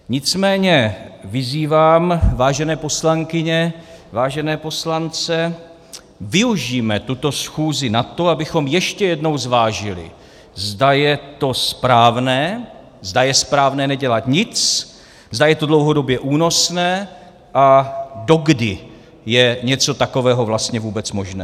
Nicméně vyzývám vážené poslankyně, vážené poslance, využijme tuto schůzi na to, abychom ještě jednou zvážili, zda je to správné, zda je správné nedělat nic, zda je to dlouhodobě únosné a dokdy je něco takového vlastně vůbec možné.